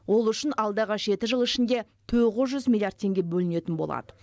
ол үшін алдағы жеті жыл ішінде тоғыз жүз миллиард теңге бөлінетін болады